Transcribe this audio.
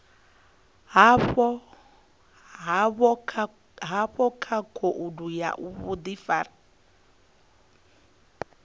havho kha khoudu ya vhudifari